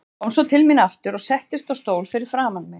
Kom svo til mín aftur og settist á stól fyrir framan mig.